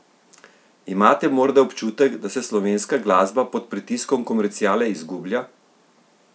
Imate morda občutek, da se slovenska glasba pod pritiskom komerciale izgublja?